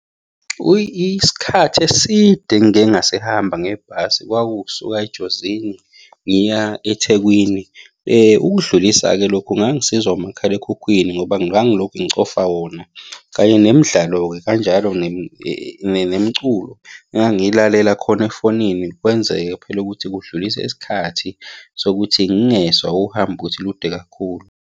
Isikhathi eside engike ngasihamba ngebhasi kwaku ukusuka eJozini ngiya eThekwini. Ukudlulisa-ke lokhu ngangisizwa umakhalekhukhwini ngoba ngangilokhu ngicofa wona, kanye nemidlalo-ke kanjalo nemiculo engangilalela khona efonini kwenzeke phela ukuthi kudlulise isikhathi sokuthi ngingezwa uhambo ukuthi lude kakhulu.